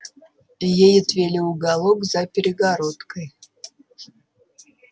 ей отвели уголок за перегородкой